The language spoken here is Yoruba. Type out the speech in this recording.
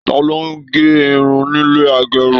Taló n gé irun nílé agérun?